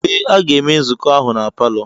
Ee, a ga-eme nzukọ ahụ na palọ.